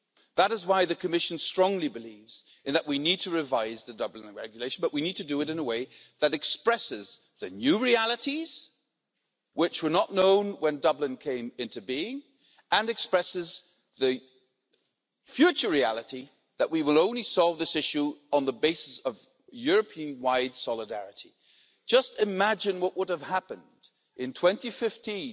That is why the Commission strongly believes that we need to revise the Dublin Regulation, but we need to do it in a way that expresses the new realities, which were not known when Dublin came into being, and expresses the future reality that we will only solve this issue on the basis of European wide solidarity. Just imagine what would have happened in 2015